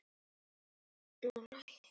Þannig hélst það alla tíð.